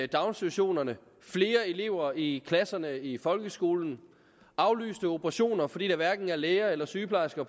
daginstitutionerne flere elever i klasserne i folkeskolen aflyste operationer fordi der hverken er læger eller sygeplejersker